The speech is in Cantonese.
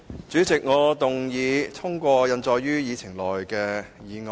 主席，我動議通過印載於議程內的議案。